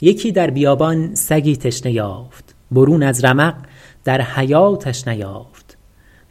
یکی در بیابان سگی تشنه یافت برون از رمق در حیاتش نیافت